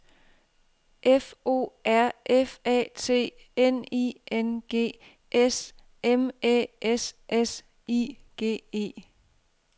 F O R F A T N I N G S M Æ S S I G E